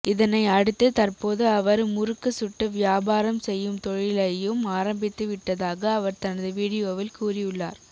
இதனை அடுத்து தற்போது அவர் முறுக்கு சுட்டு வியாபாரம் செய்யும் தொழிலையும் ஆரம்பித்து விட்டதாக அவர் தனது வீடியோவில் கூறியுள்ளார்